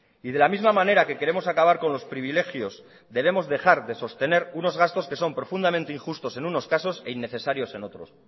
y de la misma manera que queremos acabar con los privilegios debemos dejar de sostener unos gastos que son profundamente injustos en unos casos e innecesarios en otros